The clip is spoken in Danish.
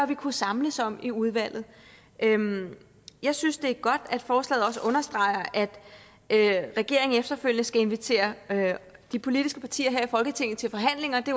vi kunne samles om i udvalget jeg synes det er godt at forslaget også understreger at regeringen efterfølgende skal invitere de politiske partier her i folketinget til forhandlinger det